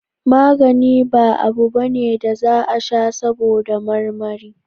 Magani ba abu bane da za a sha saboda marmari